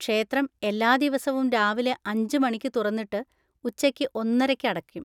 ക്ഷേത്രം എല്ലാ ദിവസവും രാവിലെ അഞ്ച് മണിക്ക് തുറന്നിട്ട് ഉച്ചയ്ക്ക് ഒന്നരയ്ക്ക് അടക്കും.